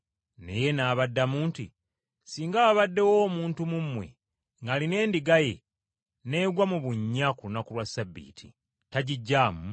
Naye n’abaddamu nti, “Singa wabaddewo omuntu mu mmwe ng’alina endiga emu, n’egwa mu bunnya ku lunaku lwa Ssabbiiti, tagiggyamu?